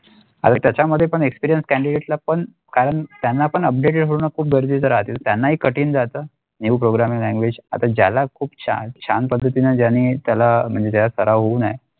त्याचा मध्ये पण Experienced candidate ला पण कारण त्यांना पण updated होण्याच्या खूप गरजेचे रहाचे त्यांना ही कठीण राहाता New Programming Language आता ज्याला खूप छान छान पद्धतीने ज्यांनी त्याला म्हणजे ज्यास होउन नाही.